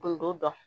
Kun t'o dɔn